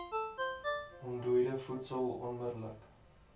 ontdooide voedsel onmidddelik